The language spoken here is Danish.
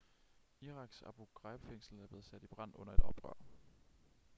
iraks abu ghraib-fængsel er blevet sat i brand under et oprør